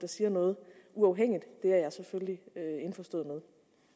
siger noget jeg er selvfølgelig